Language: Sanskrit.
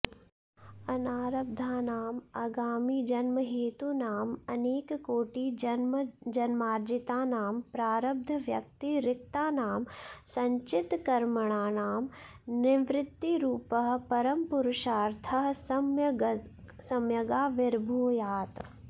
अनारब्धानां आगामिजन्महेतूनां अनेककोटिजन्मार्जितानां प्रारब्धव्यतिरिक्तानां सञ्चितकर्मणां निवृत्तिरूपः परमपुरुषार्थः सम्यगाविर्भूयात्